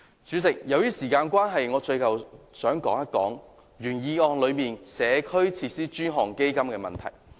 主席，由於時間關係，最後我想談談原議案內"社區設施的專項基金"的問題。